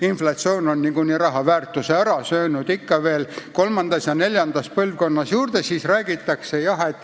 Inflatsioon on selle raha väärtuse niikuinii ära söönud, ent ikka veel kolmandas ja neljandas põlvkonnas räägitakse sellest võlast.